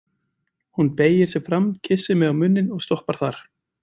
Hún beygir sig fram, kyssir mig á munninn og stoppar þar.